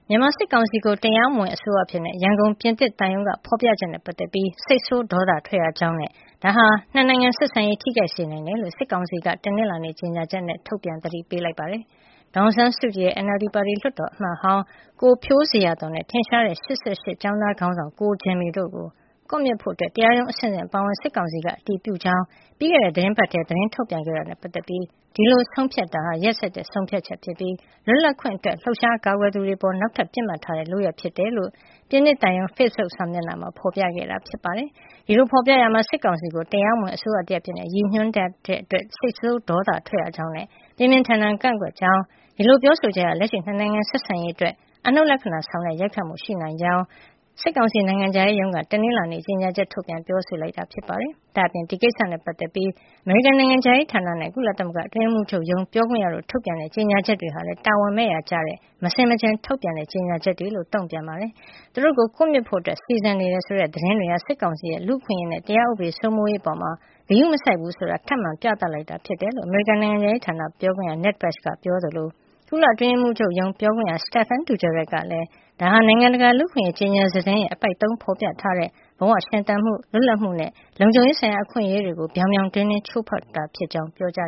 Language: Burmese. မြန်မာစစ်ကောင်စီကို တရားမဝင်အစိုးရအဖြစ် ရန်ကုန်ပြင်သစ်သံရုံးက ဖေါ်ပြချက်နဲ့ ပတ်သက်ပြီး စိတ်ဆိုးဒေါသထွက်ရကြောင်း နဲ့ ဒါဟာ ၂ နိုင်ငံဆက်ဆံရေးကို ထိခိုက်စေနိုင်ကြောင်း စစ်ကောင်စီက တနင်္လာနေ့မှာ ကြေညာချက် ထုတ်ပြန်သတိပေးလိုက်ပါတယ်။ ဒေါ်အောင်ဆန်းကြည်ရဲ့ NLD ပါတီ လွှတ်တော်အမတ်ဟောင်း ကိုဖြိုးဇေယျာသော်နဲ့ ထင်ရှားတဲ့ ၈၈ ကျောင်းသားခေါင်းဆောင် ကိုဂျင်မီတို့ကို ကွပ်မျက်ဖို့ တရားရုံးအဆင့်ဆင့်အပါအဝင် စစ်ကောင်စီက အတည်ပြုကြောင်း ပြီးခဲ့တဲ့ သီတင်းပတ်ထဲမှာပဲ သတင်းထုတ်ပြန်ခဲ့တာနဲ့ပတ်သက်ပြီး ဒီလို ဆုံးဖြတ်တာဟာ ရက်စက်တဲ့ ဆုံးဖြတ်ချက်ဖြစ်ပြီး လွတ်လပ်ခွင့်အတွက် လှုပ်ရှားကာကွယ်သူတွေ အပေါ် နောက်ထပ် ပစ်မှတ်ထားတဲ့ လုပ်ရပ် ဖြစ်တယ်လို့ ပြင်သစ်သံရုံး ဖေ့စ်ဘုတ်စာမျက်နှာမှာ ဖေါ်ပြခဲ့တာပါ။ ဒီလိုဖေါ်ပြရာမှာ စစ်ကောင်စီကို တရားမဝင်အစိုးရတရပ်အဖြစ် ရည်ညွှန်းဖေါ်ပြထားတာကြောင့် စိတ်ဆိုးဒေါသထွက်ရကြောင်းနဲ့ ပြင်းပြင်းထန်ထန် ကန့်ကွက်ကြောင်း၊ ဒီလိုပြောဆိုချက်ဟာ လက်ရှိ ၂ နိုင်ငံဆက်ဆံရေး အတွက် အနှုတ်လက္ခဏာဆောင်တဲ့ ရိုက်ခတ်မှုတွေ ရှိလာနိုင်ကြောင်း စစ်ကောင်စီ နိုင်ငံခြားရေးရုံးက တနင်္လာနေ့မှာ ကြေညာချက် ထုတ်ပြန်ခဲ့တာ ဖြစ်ပါတယ်။ ဒါ့အပြင် ဒီကိစ္စနဲ့ပတ်သက်ပြီး အမေရိကန်နိုင်ငံခြားရေးဌာနနဲ့ ကုလသမဂ္ဂအတွင်းရေးမှုးချုပ်ရုံး ပြောခွင့်ရတို့ ထုတ်ပြန်တဲ့ ကြေညာချက်တွေဟာလည်း တာဝန်မဲ့ရာကျတဲ့ မဆင်မခြင် ထုတ်ပြန်တဲ့ ကြေညာချက်တွေ ဖြစ်ကြောင်းလည်း တုန့်ပြန်ထားပါတယ်။ သူတို့ကို ကွပ်မျက်ဖို့ စီစဉ်နေတယ်ဆိုတဲ့သတင်းတွေဟာ စစ်ကောင်စီရဲ့ လူ့အခွင့်အရေးနဲ့ တရားဥပဒေစိုးမိုးရေးအပေါ် ဂရုမစိုက်ဘူးဆိုတာ ထပ်မံပြသလိုက်တာဖြစ်တယ်လို့ အမေရိကန်နိုင်ငံခြားရေးဌာနပြောခွင့်ရ Ned Price က Twitter လူမှုကွန်ယက်မှာ တနင်္ဂနွေနေ့က ရေးသားခဲ့သလို ကုလအတွင်းရေးမှုးချုပ်ရုံး ပြောခွင့်ရ Stephane Dujarric ကလည်း ဒါဟာ နိုင်ငံတကာ လူ့အခွင့်အရေး ကြေညာစာတမ်းရဲ့ အပိုဒ် ၃ မှာ ဖော်ပြထားတဲ့ ဘဝရှင်သန်မှု၊ လွတ်လပ်မှုနဲ့ လုံခြုံရေးဆိုင်ရာ အခွင့်အရေးတွေကို ပြောင်ပြောင်တင်းတင်း ချိုးဖောက်တာ ဖြစ်ကြောင်း သောကြ